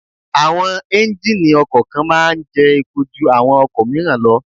Àwọn Ẹ́njíníì ọkọ̀ kan máa ń jẹ́ epo ju àwọn ọkọ̀ míràn lọ.